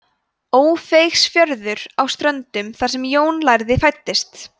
ófeigsfjörður á ströndum þar sem jón lærði fæddist